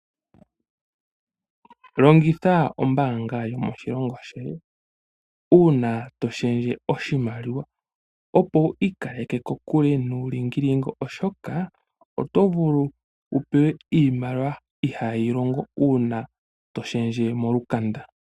Longitha ombaanga yomoshilongo shoye, uuna to shendje oshimaliwa, opo wi ikaleke kokule nuulingilingi oshoka oto vulu wu pewe iimaliwa ihaa yi longo uuna to shendje molukanda.